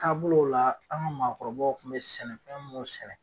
Taabolo la an ka maakɔrɔbaw kun bɛ sɛnɛfɛn munnu sɛnɛ.